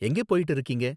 எங்கே போயிட்டு இருக்கீங்க?